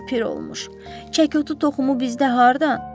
Ay pir olmuş, çəkotu toxumu bizdə hardan?